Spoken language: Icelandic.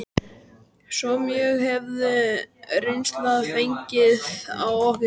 Svo mjög hafði reynslan fengið á okkur.